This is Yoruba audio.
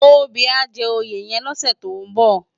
Tobi má jè óyé yèn lòsè tó n bò